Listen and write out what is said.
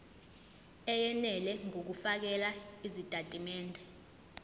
eyenele ngokufakela izitatimende